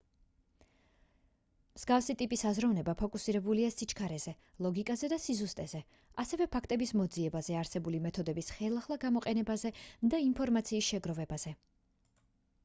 მსგავსი ტიპის აზროვნება ფოკუსირებულია სიჩქარეზე ლოგიკაზე და სიზუსტეზე ასევე ფაქტების მოძიებაზე არსებული მეთოდების ხელახლა გამოყენებაზე და ინფორმაციის შეგროვებაზე